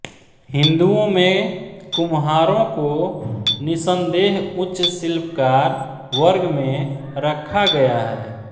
हिन्दुओ में कुम्हारों को निसंदेह उच्च शिल्पकार वर्ग में रखा गया है